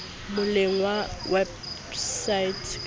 moleng wa wepsaete o ka